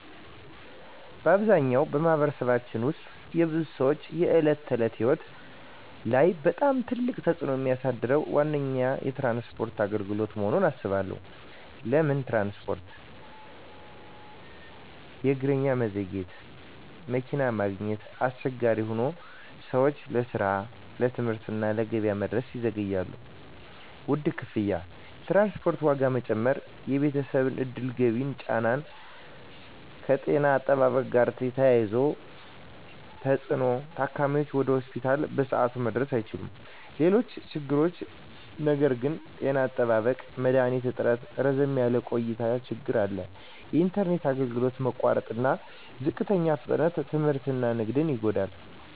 በአብዛኛው በማኅበረሰባችን ውስጥ የብዙ ሰዎች የዕለት ተዕለት ሕይወት ላይ በጣም ትልቅ ተፅዕኖ የሚያሳድረው ዋነኛ ችግር የትራንስፖርት አገልግሎት መሆኑን እባላለሁ። ለምን ትራንስፖርት? እጥረትና መዘግየት መኪና ማግኘት አስቸጋሪ ሆኖ ሰዎች ለስራ፣ ለትምህርት እና ለገበያ መድረስ ይዘገያሉ። ውድ ክፍያ የትራንስፖርት ዋጋ መጨመር የቤተሰብ ዕድል ገቢን ይጫን። ከጤና አጠባበቅ ጋር የተያያዘ ተፅዕኖ ታካሚዎች ወደ ሆስፒታል በሰዓቱ መድረስ አይችሉም። ሌሎች ችግሮች ነገር ግን… ጤና አጠባበቅ መድሀኒት እጥረትና ረዘም ያለ ቆይታ ችግር አለ። የኢንተርኔት አገልግሎት መቋረጥና ዝቅተኛ ፍጥነት ትምህርትና ንግድን ይጎዳል።